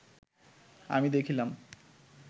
আমি দেখিলাম